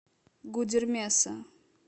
гудермеса